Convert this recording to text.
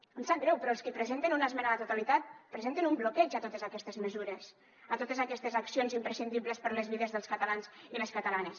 em sap greu però els qui presenten una esmena a la totalitat presenten un bloqueig a totes aquestes mesures a totes aquestes accions imprescindibles per a les vides dels catalans i les catalanes